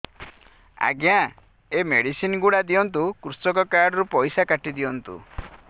ଆଜ୍ଞା ଏ ମେଡିସିନ ଗୁଡା ଦିଅନ୍ତୁ କୃଷକ କାର୍ଡ ରୁ ପଇସା କାଟିଦିଅନ୍ତୁ